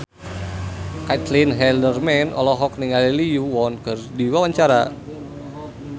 Caitlin Halderman olohok ningali Lee Yo Won keur diwawancara